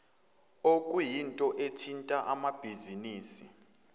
okuyinto ethinta amabhizinisi